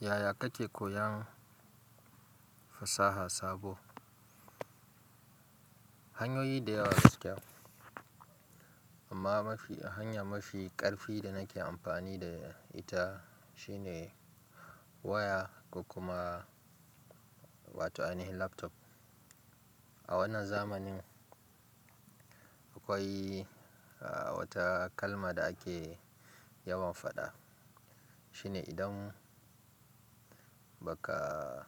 Yaya kake koyan fasaha sabo? Hanyoyi da yawa gaskiya, amma mafi a hanya mafi ƙarfi da nake amfani da ita shine waya ko kuma wato ainihin laptop. A wannan zamanin akwai wata kalma da ake yawan faɗa. Shine idan baka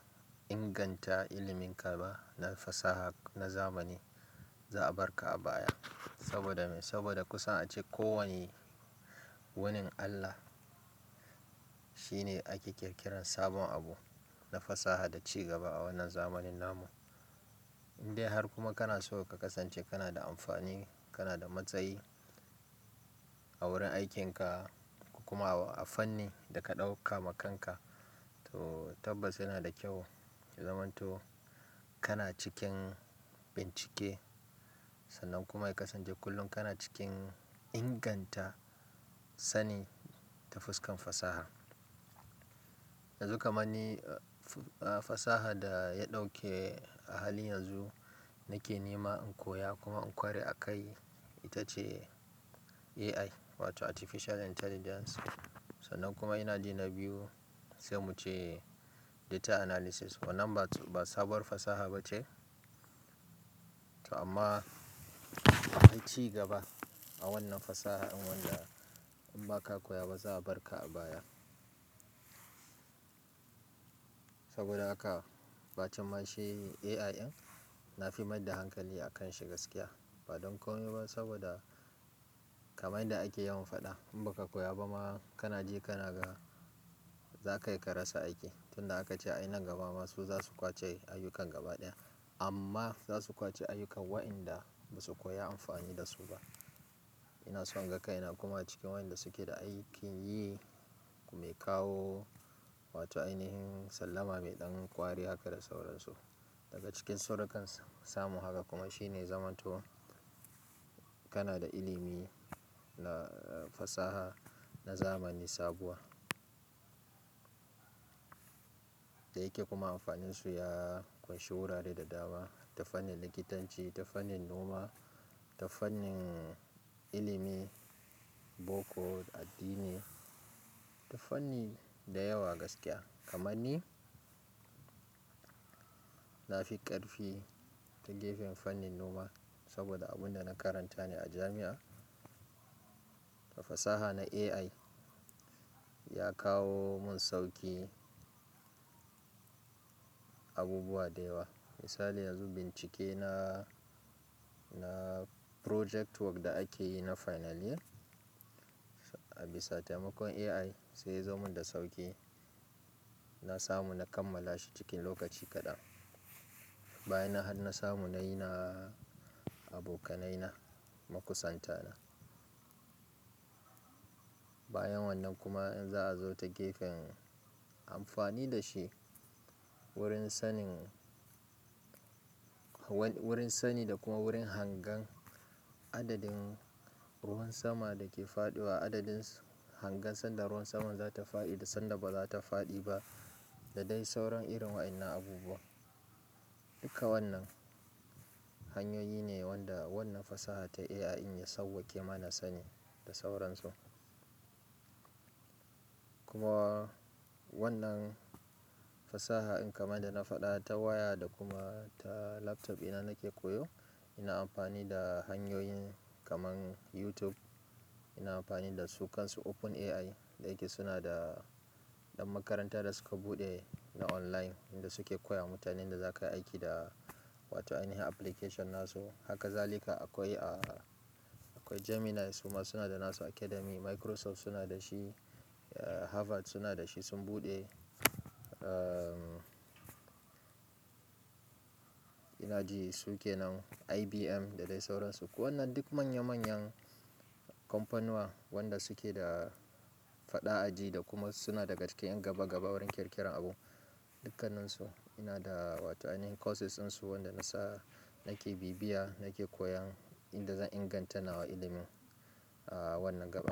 inganta iliminka ba na fasaha na zamani, za a bar ka a baya. Saboda me? Saboda kusan ace ko wani wunin Allah shine ake ƙirƙiran sabon abu na fasaha da ci gaba a wannan zamanin namu. Indai har kuma kanaso ka kasance kanada amfani kanada matsayi a wurin aikin ka kokuma a fannin da ka ɗauka wa kanka to tabbas yanada kyau ya zamanto kana cikin bincike sannan kuma ya kasance kullum kana cikin inganta sani ta fuskan fasaha. Yanzu kamanni fasaha da ya ɗauke a hali yanzu nake nema in koya kuma in ƙware a kai ita ce AI wato Artificial Intelligence. Sannan kuma inaji na biyu sai muce data analysis. Wannan ba sabuwar fasaha bace amma akwai ci gaba a wannan fasaha in wanda in ba ka koya ba za a bar ka a baya. Saboda haka ba cin mashi AI in na fi mai da hankali a kan shi gaskiya. Ba don komai ba saboda kamar yadda ake yawan faɗa in ba ka koya ba ma kana ji kana ga za ka yi ka rasa aiki. Tunda aka ce ai nan gaba ma su za su ƙwace ayyukan gaba ɗaya amma za su ƙwace ayyukan waƴanda ba su koya amfani da su ba. Ina so in ga kai na kuma cikin waɗanda suke da aikin yi mai kawo wato ainihin sallama mai ɗan ƙwari haka da sauransu. Daga cikin sirrukan samun haka kuma shine zamanto kanada ilimi na fasaha na zamani sabuwa da yake kuma amfaninsu ya ƙunshi wurare da dama, ta fannin likitanci, ta fannin noma, ta fannin ilimi, boko, addini da fanni da yawa gaskiya. Kamanni na fi ƙarfi ta gefen fannin noma saboda abun da na karanta ne a jami'a. Ta fasaha na AI ya kawo mun sauƙi abubuwa da yawa. Misali yanzu bincike na, na project work da ake yi na final year, a bisa taimakon AI sai ya zo mun da sauƙi. Na samu na kammala shi cikin lokaci kaɗan. Bayan nan har na samu nayi na abokanai na makusanta na. Bayan wannan kuma in za'a zo ta gefen amfani da shi wurin sanin, wurin sani da kuma wurin hangen adadin ruwan sama da ke faɗowa, adadin hangen sanda ruwan saman za ta faɗi da sanda ba za ta faɗi ba da dai sauran irin waɗannan abubuwa. Duka wannan hanyoyi ne wanda wannan fasaha ta AI ya sauwaqe mana sani da sauransu. Kuma wannan fasaha in kamar da na faɗa ta waya da kuma ta laptop ina nake koyo. Ina amfani da hanyoyin kamar YouTube. Ina amfani da su kansu Open AI da yake suna da ɗan makaranta da suka buɗe na online inda suke koya wa mutane yan da za ka yi aiki da wato ainihin application na su. Haka zalika akwai, akwai Gemini suma suna da nasu academy, Microsoft suna da shi, Harvard suna da shi sun buɗe. Inaji sukenan IBM daɗe sauransu. Wannan duk manya manyan kampaniwa wanda suke da faɗa a ji da kuma suna daga cikin ƴan gaba gaba wurin ƙirƙiran abu. Dukkanansu ina da wato ainihin courses ɗinsu wanda na sa nake bibiya, nake koyan inda zan inganta nawa ilimin a wannan gaba.